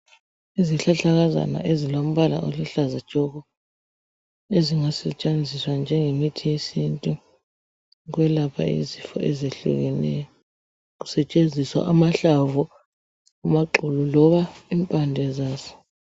Izihlahlakazana ezilombala oluhlaza tshoko ezingasetshenziswa njengemithi yesintu ukwelapha izifo ezehlukeneyo kusetshenziswa amahlamvu, amaxolo loba impande zaso.